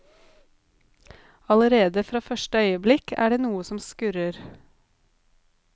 Allerede fra første øyeblikk er det noe som skurrer.